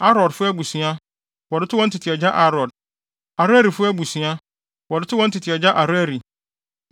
Arodfo abusua, wɔde too wɔn agya Arod; Arelifo abusua, wɔde too wɔn tete agya Areli.